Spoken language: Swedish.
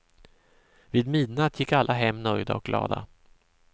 Vid midnatt gick alla hem nöjda och glada.